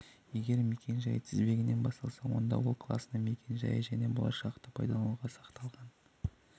егер мекен-жайы тізбегінен басталса онда ол класының мекен-жайы және болашақта пайдалануға сақталған